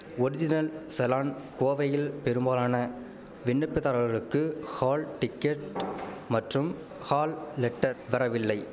original challan கோவையில் பெரும்பாலான விண்ணப்பிதாரர்களுக்கு ஹால் டிக்கெட் மற்றும் ஹால் லெட்டர் வரவில்லை